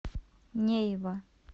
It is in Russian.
нейва